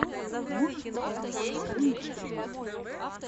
можешь показать каоми спринг